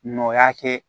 Nɔ y'a kɛ